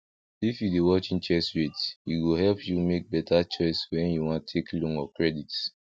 if you dey watch interest rate e go help you make better choice when you wan take loan or credit